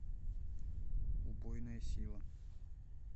убойная сила